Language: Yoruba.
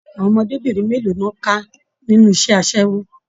Àwọn ọmọdébinrin mélòó ni wọn ká nínú iṣẹ asẹwo?